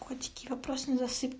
вопрос